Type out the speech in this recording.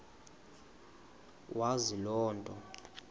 wazi loo nto